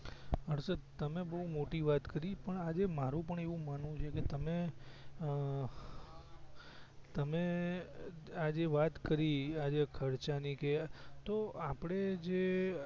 હર્ષદ તમે બવ મોટી વાત કરી પણ આજે મારુ પણ એવું માનવું છે કે તમે અ તમે આ જે વાત કરી આજે ખર્ચા ની કે તો આપડે જે